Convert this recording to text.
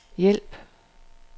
hjælp